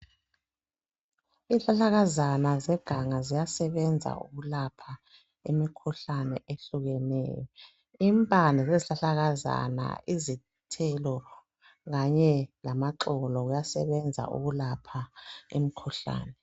Izihlahlakazana zeganga ziyasebenza ukulapha imikhuhlane ehlukeneyo. Impande zezhlahlakazana, izithelo kanye lamaxolo kuyasebenza ukulapha imkhuhlane.